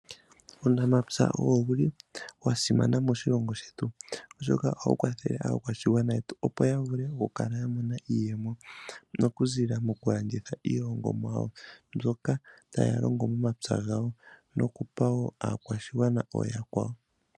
Uunamapya owuli wa simana moshilongo shetu oshoka ohawu kwathele aakwashigwana yetu opo yavule okukala yena iiyemo okuziilila mokulanditha iilongomwa yawo mbyoka taya longo momapya gawo nokupa woo aakwashigwana ooyakwawo.